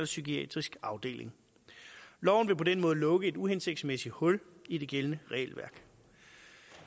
psykiatrisk afdeling og på den måde lukke et uhensigtsmæssigt hul i det gældende regelværk